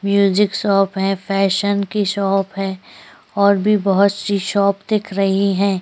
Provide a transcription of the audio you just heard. Music shop है fashion की shop है और भी बहोत सी शॉप दिख रही है।